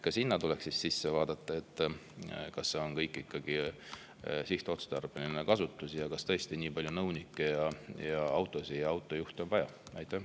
Ka sinna tuleks siis sisse vaadata: kas kasutus on ikkagi sihtotstarbeline ning kas tõesti on vaja nii palju nõunikke, autosid ja autojuhte?